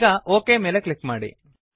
ಈಗ ಒಕ್ ಮೇಲೆ ಕ್ಲಿಕ್ ಮಾಡಿ